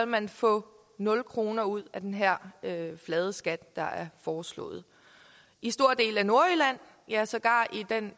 man få nul kroner ud af den her flade skat der er foreslået i store dele af nordjylland ja sågar i den